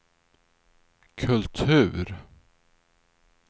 kultur